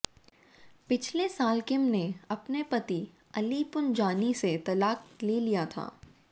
पिछले साल किम ने अपने पति अली पुंजानी से तलाक ले लिया था